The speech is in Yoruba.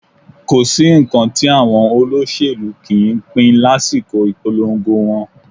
Kò sí nǹkan tí àwọn olóṣèlú kì í ń pín lásìkò ìpolongo wọn